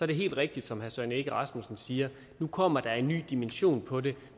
det helt rigtigt som herre søren egge rasmussen siger at nu kommer der en ny dimension på det